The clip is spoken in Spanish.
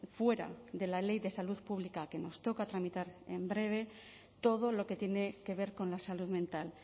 fuera de la ley de salud pública que nos toca tramitar en breve todo lo que tiene que ver con la salud mental